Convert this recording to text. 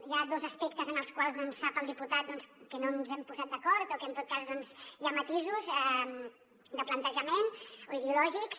hi ha dos aspectes en els quals sap el diputat que no ens hi hem posat d’acord o que en tot cas hi ha matisos de plantejament o ideològics